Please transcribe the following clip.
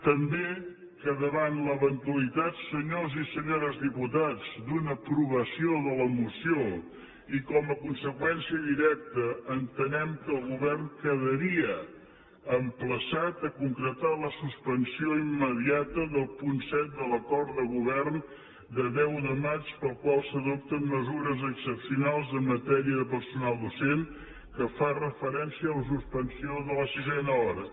també que davant l’eventualitat senyors i senyores diputats d’una aprovació de la moció i com a conseqüència directa entenem que el govern quedaria emplaçat a concretar la suspensió immediata del punt set de l’acord de govern de deu de maig pel qual s’adopten mesures excepcionals en matèria de personal docent que fa referència a la suspensió de la sisena hora